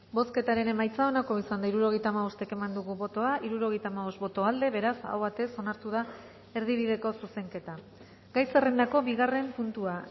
bozketaren emaitza onako izan da hirurogeita hamabost eman dugu bozka hirurogeita hamabost boto aldekoa beraz aho batez onartu da erdibideko zuzenketa gai zerrendako bigarren puntua